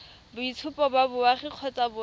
boitshupo ba boagi kgotsa boemo